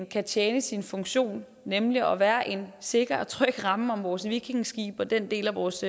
kan tjene sin funktion nemlig at være en sikker og tryg ramme om vores vikingeskibe og den del af vores